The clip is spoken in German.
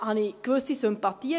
Ich habe gewisse Sympathien.